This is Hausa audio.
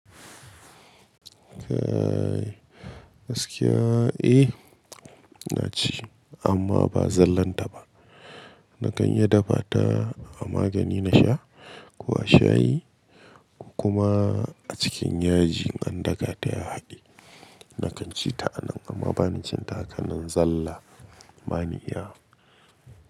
Eh gaskiya, eh na ci amma ba zallan ta ba. Na kan iya dafa ta a magani na sha ko a shayi kuma a cikin yaji an daka ta ya haɗe. Na kan ci ta a nan amma ba na cin ta a hakanan zalla, ba ni iyawq.